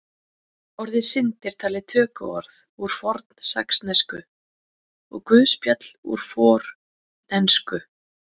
Orðið synd er talið tökuorð úr fornsaxnesku og guðspjall úr fornensku.